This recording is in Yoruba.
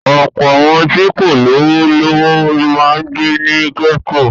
Ọ̀pọ̀ àwọn tí kò lówó lọ́wọ́ máa ń gbé ní gẹ́tò.